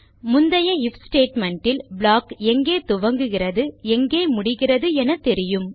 முந்தைய if statement இல் block எங்கே துவங்குகிறது எங்கே முடிகிறது என தெரியும்